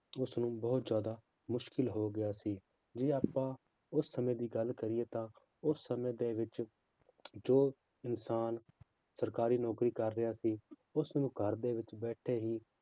ਉਸਨੂੰ ਬਹੁਤ ਜ਼ਿਆਦਾ ਮੁਸ਼ਕਲ ਹੋ ਗਿਆ ਸੀ ਜੇ ਆਪਾਂ ਉਸ ਸਮੇਂ ਦੀ ਗੱਲ ਕਰੀਏ ਤਾਂ ਉਸ ਸਮੇਂ ਦੇ ਵਿੱਚ ਜੋ ਇਨਸਾਨ ਸਰਕਾਰੀ ਨੌਕਰੀ ਕਰ ਰਿਹਾ ਸੀ, ਉਸਨੂੰ ਘਰ ਦੇ ਵਿੱਚ ਬੈਠੇ ਹੀ